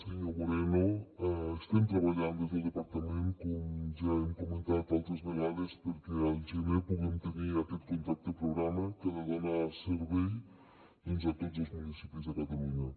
senyor moreno estem treballant des del departament com ja hem comentat altres vegades perquè al gener puguem tenir aquest contracte programa que ha de donar servei doncs a tots els municipis de catalunya